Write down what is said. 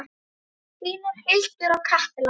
Þínar Hildur og Katla.